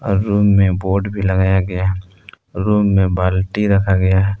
Room में board भी लगाया गया है रूम में बाल्टी रखा गया है।